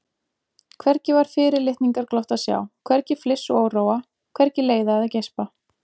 Hvergi var fyrirlitningarglott að sjá, hvergi fliss og óróa, hvergi leiða eða geispa.